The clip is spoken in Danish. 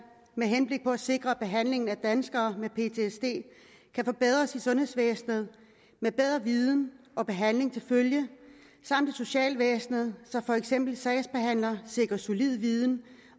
med henblik på at sikre at behandlingen af danskere med ptsd kan forbedres i sundhedsvæsenet med bedre viden og behandling til følge samt i socialvæsnet så for eksempel sagsbehandlere sikres solid viden